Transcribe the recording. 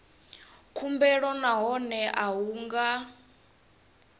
khumbelo nahone a hu nga